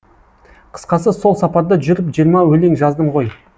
қысқасы сол сапарда жүріп жиырма өлең жаздым ғой